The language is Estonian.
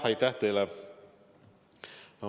Aitäh teile!